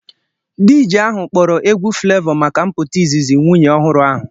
DJ ahụ kpọrọ egwu Flevọ maka mpụta izizi nwunye ọhụrụ ahụ